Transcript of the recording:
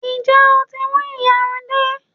Ǹjẹ́ o tí mú ìyarun dé?